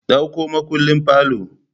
Ɗauko makullin parlour